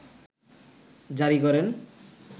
জারি করেন